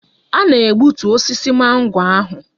A na-egbutu osisi mango ahụ.